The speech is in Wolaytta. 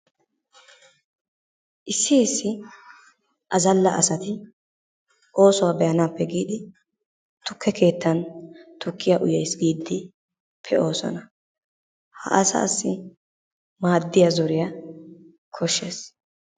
Issi issi azzalla asati oosuwa be'anaappe giidi tukkee keettan tukkiya uyaas giidi pe'oosona. Ha asaassi maadiya zoriya koshshees.